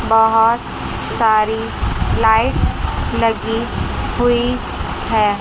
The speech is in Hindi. बहोत सारी लाइट्स लगी हुई है।